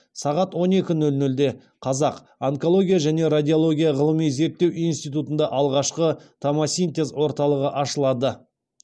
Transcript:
сағат он екі нөл нөлде қазақ онкология және радиология ғылыми зерттеу институтында алғашқы томосинтез орталығы ашылады